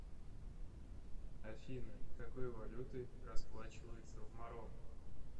афина какой валютой расплачиваются в марокко